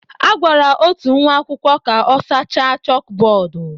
A gwara otu nwa akwụkwọ ka ọ sachaa chókbódú